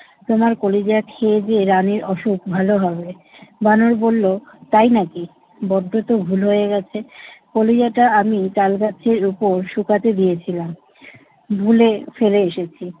তোমার কলিজা খেয়েদেয়ে রানীর অসুখ ভালো হবে। বানর বলল, তাই নাকি? বড্ড তো ভুল হয়ে গেছে। কলিজাটা আমি তাল গাছের উপর শুকাতে দিয়েছিলাম। ভুলে ফেলে এসেছি।